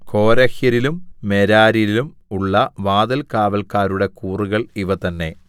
കോരഹ്യരിലും മെരാര്യരിലും ഉള്ള വാതിൽകാവല്ക്കാരുടെ കൂറുകൾ ഇവ തന്നേ